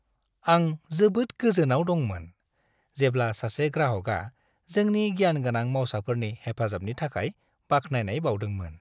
आं जोबोद गोजोनाव दंमोन, जेब्ला सासे ग्राहकआ जोंनि गियानगोनां मावसाफोरनि हेफाजाबनि थाखाय बाख्नायनाय बाउदोंमोन।